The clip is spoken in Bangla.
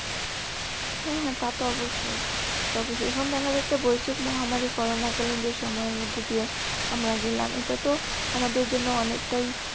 হ্যা হ্যাঁ তা তো অবশ্যই। কিন্তু এখন দেখা যাচ্ছে বৈষয়িক মহামারি করোনা কালিন যে সময়ের মধ্য দিয়ে আমরা গেলাম। এটা তো আমাদের জন্য অনেকটাই